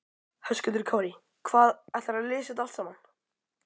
Höskuldur Kári: Hvað, ætlarðu að lesa þetta allt saman?